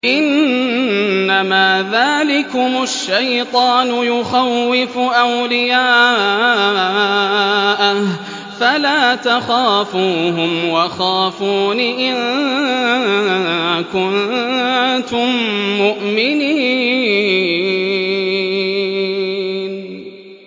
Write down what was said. إِنَّمَا ذَٰلِكُمُ الشَّيْطَانُ يُخَوِّفُ أَوْلِيَاءَهُ فَلَا تَخَافُوهُمْ وَخَافُونِ إِن كُنتُم مُّؤْمِنِينَ